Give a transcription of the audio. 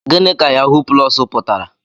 Gịnị ka yahuu plọs pụtara?